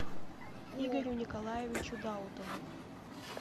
игорю николаевичу даутову